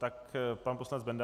Tak pan poslanec Benda.